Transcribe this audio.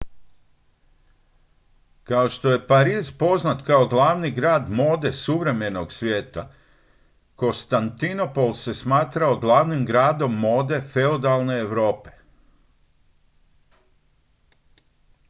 kao što je pariz poznat kao glavni grad mode suvremenog svijeta kostantinopol se smatrao glavnim gradom mode feudalne europe